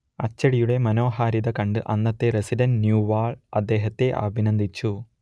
അച്ചടിയുടെ മനോഹാരിത കണ്ട് അന്നത്തെ റസിഡന്റ് ന്യൂവാൾ അദ്ദേഹത്തെ അഭിനന്ദിച്ചു